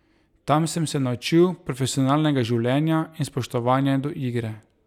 Tam sem se naučil profesionalnega življenja in spoštovanja do igre.